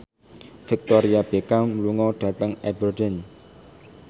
Victoria Beckham lunga dhateng Aberdeen